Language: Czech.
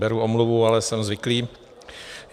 Beru omluvu, ale jsem zvyklý.